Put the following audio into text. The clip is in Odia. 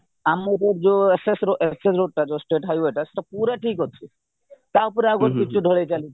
ଆମର ଯୋଉ ss ss ରୋଡଟା ଯୋଉ state highway ସେଇଟା ପୁରା ଠିକ ଅଛି ତାଉପରେ ଆଉଗୋଟିଏ ପିଚୁ ଢ଼ଳେଇ ଚାଲିଛି